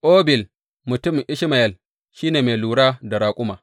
Obil mutumin Ishmayel shi ne mai lura da raƙuma.